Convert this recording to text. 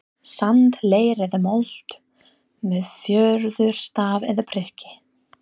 sand, leir eða mold, með fjöðurstaf eða priki.